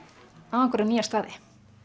á einhverja nýja staði